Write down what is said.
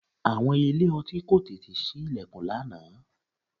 Àwọn ilé-ọtí kò tètè sí ìlẹ̀kùn lánàá